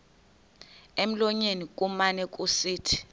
emlonyeni kumane kusithi